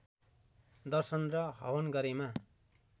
दर्शन र हवन गरेमा